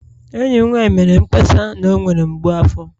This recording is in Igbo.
Enyi m nwanyị mere mkpesa na ọ nwere mgbu afọ